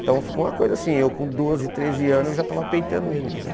Então ficou uma coisa assim, eu com doze, treze anos eu já estava peitando ele, entendeu?